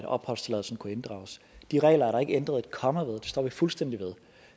opholdstilladelsen kunne inddrages de regler er der ikke ændret et komma ved dem står vi fuldstændig ved